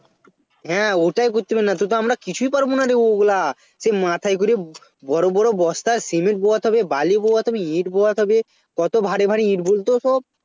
হ্যাঁ ওটাই করতে পারবো না তো আমরা কিছুই পারবো নারে ওইগুলো সে মাথায় করে বড়ো বড়ো বস্তায় Cement বয়াতে হবে বালি বয়াতে হবে ইট বয়াতে হবে কত ভারী ভারী ইট বলতো সব